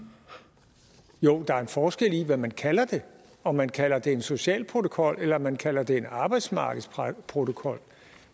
jo der er en forskel i hvad man kalder det om man kalder det en social protokol eller om man kalder det en arbejdsmarkedsprotokol